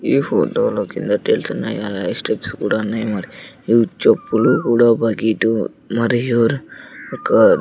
ఈ ఫోటో లో కింద టైల్స్ ఉన్నాయి అలాగే స్టెప్స్ కూడా ఉన్నాయి మరి ఈ చెప్పులు కూడా బకిటు మరియు ఒక --